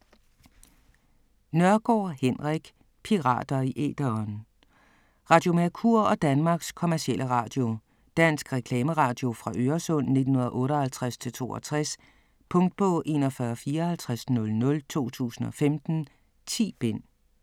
Nørgaard, Henrik: Pirater i æteren Radio Mercur og Danmarks Commercielle Radio. Dansk reklameradio fra Øresund 1958-62. Punktbog 415400 2015. 10 bind.